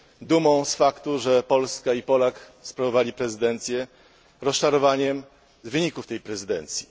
Dumą z faktu, że Polska i Polak sprawowali prezydencję, rozczarowaniem z wyników tej prezydencji.